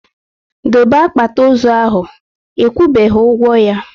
Dobe akpati ozu ahụ! Ekwubeghi ụgwọ ya